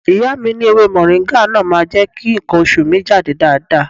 Ìyá mi ní ewé Mọ̀ríngà náà máa jẹ́ kí nǹkan oṣù mi jáde dáadáa.